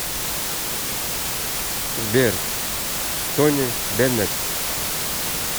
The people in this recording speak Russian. сбер тони беннет